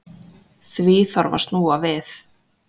Því þarf að snúa við.